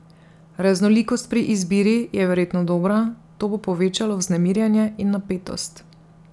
Raznolikost pri izbiri je verjetno dobra, to bo povečalo vznemirjenje in napetost.